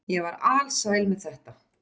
Ég var alsæl með þetta.